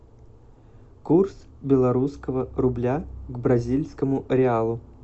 курс белорусского рубля к бразильскому реалу